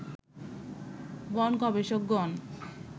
বন গবেষকগণ